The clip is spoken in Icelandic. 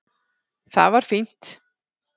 Það var fínt.